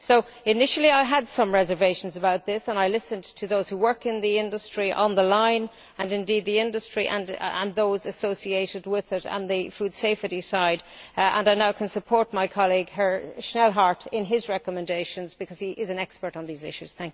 So, initially I had some reservations about this and I listened to those who work in the industry on the line, and indeed in the industry and those associated with it on the food safety side, and I now can support my colleague, Mr Schnellhardt, in his recommendations, because he is an expert on these issues.